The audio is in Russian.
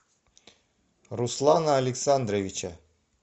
руслана александровича